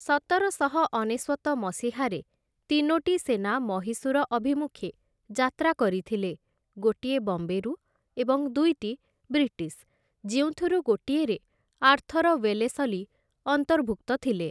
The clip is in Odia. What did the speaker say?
ସତରଶହ ଅନେଶ୍ଵତ ମସିହାରେ ତିନୋଟି ସେନା ମହୀଶୂର ଅଭିମୁଖେ ଯାତ୍ରା କରିଥିଲେ, ଗୋଟିଏ ବମ୍ବେରୁ ଏବଂ ଦୁଇଟି ବ୍ରିଟିଶ୍‌ ଯେଉଁଥିରୁ ଗୋଟିଏରେ ଆର୍ଥର ୱେଲେସଲି ଅନ୍ତର୍ଭୁକ୍ତ ଥିଲେ ।